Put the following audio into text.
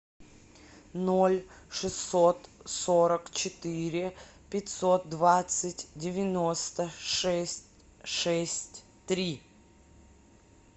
ноль шестьсот сорок четыре пятьсот двадцать девяносто шесть шесть три